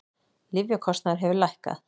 Lyfjakostnaður hefur lækkað